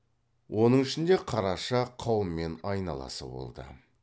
оның ішінде қараша қаумен айналасы болды